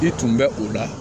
I tun bɛ o la